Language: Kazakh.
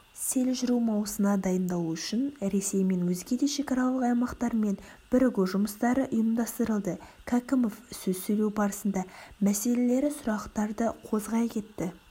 сел жүру маусына дайындалу үшін ресей мен өзгеде шекаралық аймақтармен біргу жұмыстары ұйымдастырылды кәкімов сөз сөйлеу барысында мәселелері сұрақтарды қозғай кетті